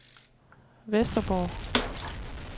Vesterborg